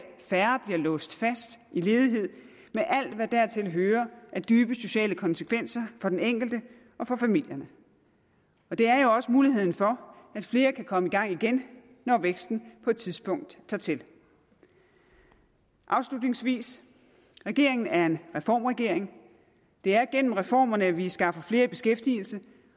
færre bliver låst fast i ledighed med alt hvad dertil hører af dybe sociale konsekvenser for den enkelte og for familierne og det er jo også muligheden for at flere kan komme i gang igen når væksten på et tidspunkt tager til afslutningsvis regeringen er en reformregering det er gennem reformerne vi skaffer flere i beskæftigelse